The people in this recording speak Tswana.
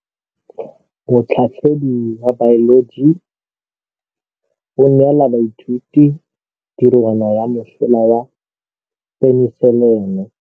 Motlhatlhaledi wa baeloji o neela baithuti tirwana ya mosola wa peniselene.